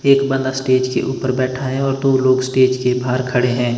एक बंदा स्टेज के ऊपर बैठा है और जो लोग स्टेज के बाहर खड़े हैं।